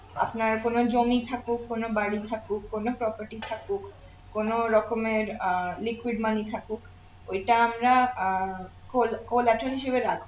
আপনার কোন জমি থাকুক কোন বাড়ি থাকুক কোন property থাকুক কোন রকমের আহ liquid money থাকুক ওইটা আমরা আহ col~collateraltian এ রাখবো